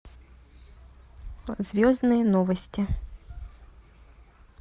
звездные новости